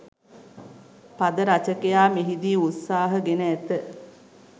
පද රචකයා මෙහිදී උත්සාහ ගෙන ඇත